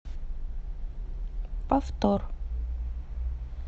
повтор